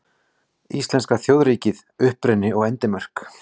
Íslenska þjóðríkið: Uppruni og endimörk.